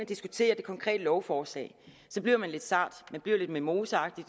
diskuterer det konkrete lovforslag bliver man lidt sart man bliver lidt mimoseagtig